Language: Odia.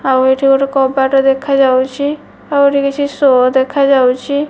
ଆଉ ଏଠି ଗୋଟେ କବାଟ ଦେଖା ଯାଉଛି ଆଉ ଗୋଟେ କିଛି ଶୋ ଦେଖା ଯାଉଛି।